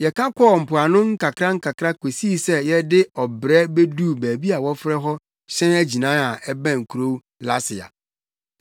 Yɛka kɔɔ mpoano nkakrankakra kosii sɛ yɛde ɔbrɛ beduu baabi a wɔfrɛ hɔ Hyɛn Agyinae a ɛbɛn kurow Lasea.